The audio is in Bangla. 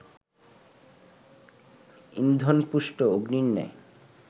ইন্ধনপুষ্ট অগ্নির ন্যায়